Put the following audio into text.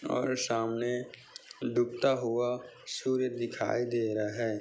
और सामने डूबता हुआ सूर्य दिखाई दे रहा है।